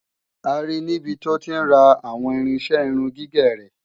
A ri níbi tó ti ń ra àwọn irinṣẹ́ irun gígẹ̀ rẹ̀.